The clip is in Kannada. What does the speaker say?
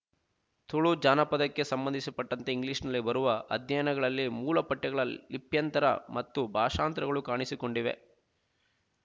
ತುಳು ಜಾನಪದಕ್ಕೆ ಸಂಬಂಧಿಸ ಪಟ್ಟಂತೆ ಇಂಗ್ಲಿಷ್ ನಲ್ಲಿ ಬರುವ ಅಧ್ಯಯನಗಳಲ್ಲಿ ಮೂಲಪಠ್ಯಗಳ ಲಿಪ್ಯಂತರ ಮತ್ತು ಭಾಷಾಂತರಗಳು ಕಾಣಿಸಿಕೊಂಡಿವೆ